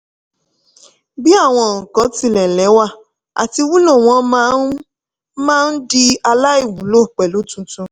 bí àwọn nǹkan tilẹ̀ lẹ́wà àti wúlò wọ́n máa máa ń di aláìwúlò pẹ̀lú tuntun.